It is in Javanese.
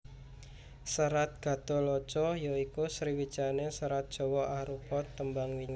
Serat Gatholoco ya iku sawijining serat Jawa arupa tembang mijil